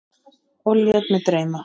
Og lét mig dreyma.